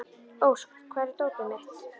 Ósk, hvar er dótið mitt?